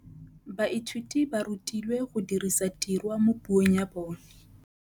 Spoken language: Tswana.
Baithuti ba rutilwe go dirisa tirwa mo puong ya bone.